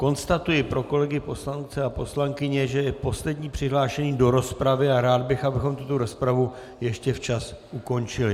Konstatuji pro kolegy poslance a poslankyně, že je poslední přihlášený do rozpravy, a rád bych, abychom tuto rozpravu ještě včas ukončili.